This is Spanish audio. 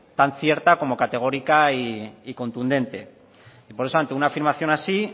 tan cierta como categórica y contundente y por eso ante una afirmación así